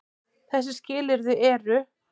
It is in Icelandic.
Þessi skilyrði eru: